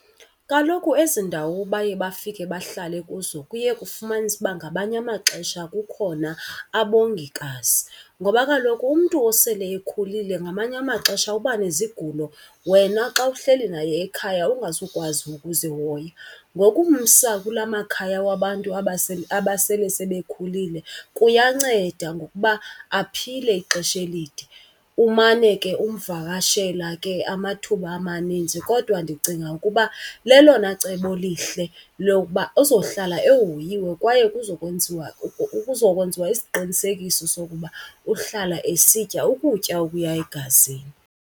Kaloku ezi ndawo baye bafike bahlale kuzo kuye kufumanise uba ngamanye amaxesha kukhona abongikazi, ngoba kaloku umntu osele ekhulile ngamanye amaxesha uba nezigulo wena xa uhleli naye ekhaya ungazukwazi ukuzihoya. Ngokumsa kulaa makhaya wabantu abasele sebekhulile kuyanceda ngokuba aphile ixesha elide. Umane ke umvakashela ke amathuba amaninzi kodwa ndicinga ukuba lelona cebo lihle lokuba uzohlala ehoyiwe kwaye kuzokwenziwa , kuzokwenziwa isiqinisekiso sokuba uhlala esitya ukutya okuya egazini.